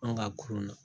An ka kurun na